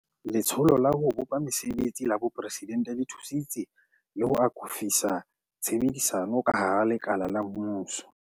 Letsholo la ho bopa Mese betsi la Boporesidente le thusitse le ho akofisa tshebedisano ka hara lekala la mmuso.